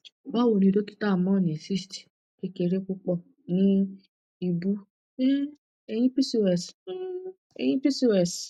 bawoni dokita mo ni cysts kekere pupo ni ibu um eyin pcos um eyin pcos